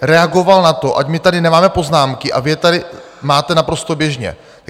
... reagoval na to, ať my tady nemáme poznámky, a vy je tady máte naprosto běžně.